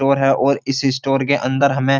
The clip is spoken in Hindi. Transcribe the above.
स्टोर है और इस स्टोर के अंदर हमें --